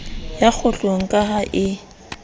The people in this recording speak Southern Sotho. ya kgohlong ka ha e